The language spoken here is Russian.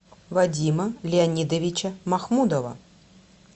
вадима леонидовича махмудова